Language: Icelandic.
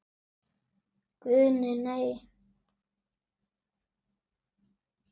Guðni:. nei.